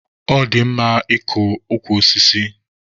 Ọ dị mma ịkọ ukwu osisi.